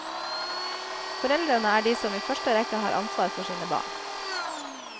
Foreldrene er de som i første rekke har ansvar for sine barn.